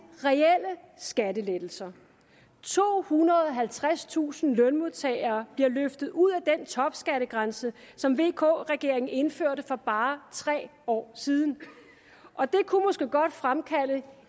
reelle skattelettelser tohundrede og halvtredstusind lønmodtagere bliver løftet ud af den topskattegrænse som vk regeringen indførte for bare tre år siden og det kunne måske godt fremkalde